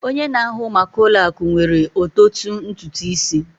Onye na-ahụ maka ụlọ akụ nwere ototu ntutu isi